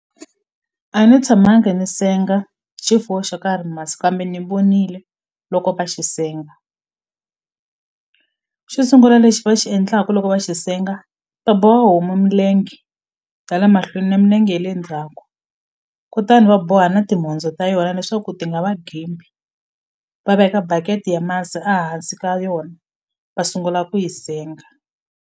A ni tshamanga ni senga xifuwo xo karhi masi kambe ni vonile loko va xi senga xo sungula lexi va xi endlaku loko va xi senga va boha homu milenge tala mahlweni na minenge ye le ndzhaku kutani va boha na timhondzo ta yona leswaku ti nga va gembi va veka bucket ya masi a hansi ka yona va sungula ku yi senga.